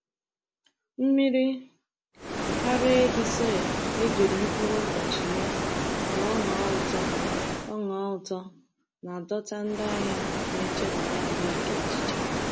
Mmiri ara ehi soya e jiri mkpụrụ ụbọchị mee ka ọ ṅọọ ụtọ ọ ṅọọ ụtọ na-adọta ndị ahịa na-echebara ahụike echiche.